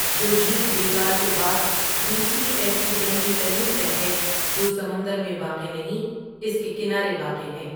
جو جھیل بیکال کے بعد دوسری ایسی گہری ترین تہہ ہے جو سمندر میں واقع نہیں اس کے کنارے واقع ہے ۔